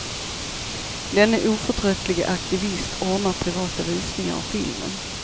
Denne oförtröttlige aktivist ordnar privata visningar av filmen.